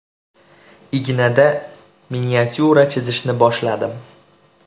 Ignada miniatyura chizishni boshladim.